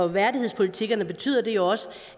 værdighedspolitikkerne betyder det jo også